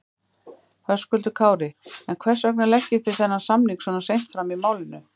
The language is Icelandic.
Höskuldur Kári: En hvers vegna leggið þið þennan samning svona seint fram í málinu?